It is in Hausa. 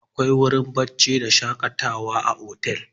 Akwai wurin barci da shaƙatawa a otel.